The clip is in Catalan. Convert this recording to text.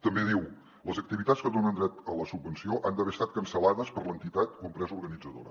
també diu les activitats que donen dret a la subvenció han d’haver estat cancellades per l’entitat o empresa organitzadora